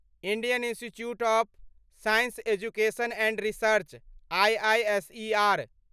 Indian institute of science education and research IISER